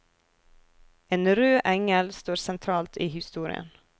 En rød engel står sentralt i historien.